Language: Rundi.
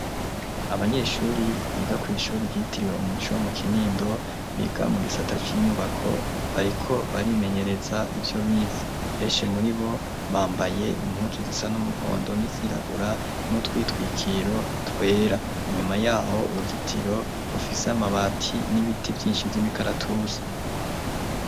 Abanyeshuri biga kw'ishuri ryitiriwe umuco wa mu kinindo biga mu gisata c'inyubako bariko barimenyereza ibyo bize, benshi muri bo bambaye impunsu zisa n'umuhondo n'izirabura n'utwitwikiro twera inyuma yaho uruzitiro rufise amabati n'ibiti byinshi vy'imikaratusi.